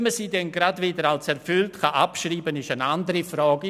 Ob man sie dann gerade wieder als erfüllt abschreiben kann, ist eine andere Frage.